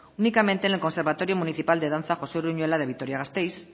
únicamente en el conservatorio municipal de danza josé uruñuela de vitoria gasteiz